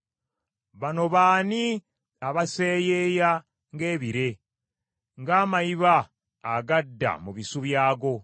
“Bano baani abaseyeeya nga ebire, ng’amayiba agadda mu bisu byago?